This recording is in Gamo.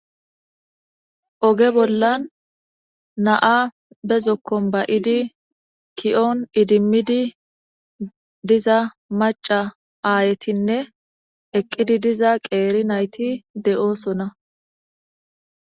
Oge bollan na'a be zokkon bayidi kiyoon idimmidi diza maca aayetinne eqqidi diza qeeri nayti de'oosona.